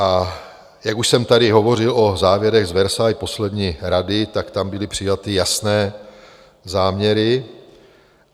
A jak už jsem tady hovořil o závěrech z Versailles poslední Rady, tak tam byly přijaty jasné záměry.